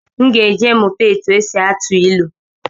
M ga-eje mụta etu esi atụ ilu